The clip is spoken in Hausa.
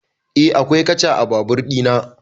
Eh akwai katcha a babur ɗina